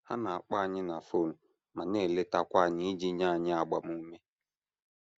Ha na - akpọ anyị na fon ma na - eletakwa anyị iji nye anyị agbamume.